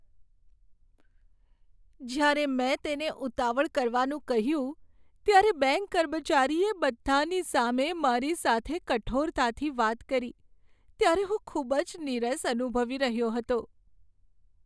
જ્યારે મેં તેને ઉતાવળ કરવાનું કહ્યું ત્યારે બેંક કર્મચારીએ બધાંની સામે મારી સાથે કઠોરતાથી વાત કરી ત્યારે હું ખૂબ જ નીરસ અનુભવી રહ્યો હતો.